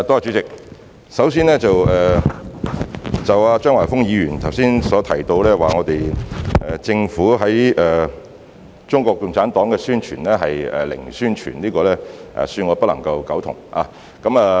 主席，首先，張華峰議員剛才指政府對於中國共產黨是"零宣傳"，恕我不能苟同。